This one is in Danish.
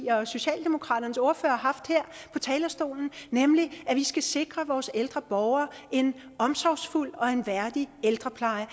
og socialdemokratiets ordførere har haft her på talerstolen nemlig at vi skal sikre vores ældre borgere en omsorgsfuld og en værdig ældrepleje